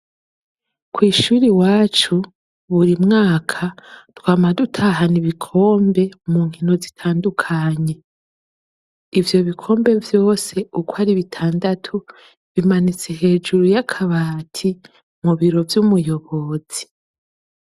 Kw'ishure iwacu ,buri mwaka, twama dutahana ibikombe mu nkino zitandukanye. Ivyo bikombe vyose uko ari bitandatu, bimanitse hejuru y'akabati mu biro vy'umuyobozi.